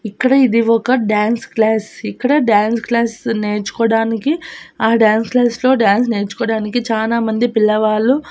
ఇక్కడ ఇది ఒక డాన్స్ క్లాస్ ఇక్కడ డాన్స్ క్లాస్ నేర్చుకోవడానికి ఆ డాన్స్ క్లాస్ లో డాన్స్ నేర్చుకోడానికి చాలామంది పిల్లవాళ్ళు--